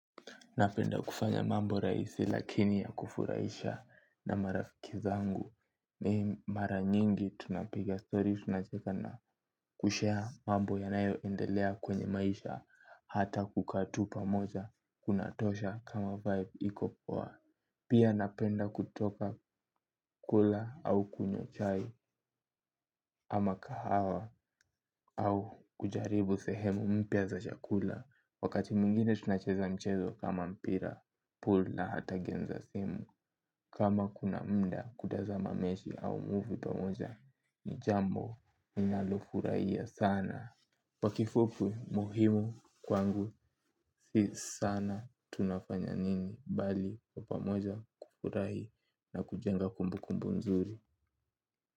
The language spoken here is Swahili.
Napenda kufanya mambo rahisi lakini ya kufurahisha na marafiki zangu ni mara nyingi tunapiga story tunacheka na kushare mambo yanayoendelea kwenye maisha hata kukaa tu pamoja kunatosha kama vibe iko poa. Pia napenda kutoka kula au kunywa chai ama kahawa au kujaribu sehemu mpya za chakula. Wakati mwingine tunacheza mchezo kama mpira pool na hata game za simu. Kama kuna muda kutazama mechi au movie pamoja ni jambo ninalofurahia sana kwa kifupu muhimu kwangu si sana tunafanya nini bali kwa pamoja kufurahi na kujenga kumbu kumbu nzuri.